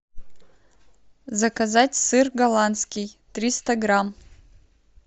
заказать сыр голландский триста грамм